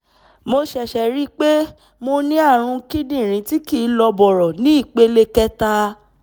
mo ṣẹ̀ṣẹ̀ ríi pé mo ní ààrùn kíndìnrín tí kìí lọ bọ̀rọ̀ ní ìpele kẹta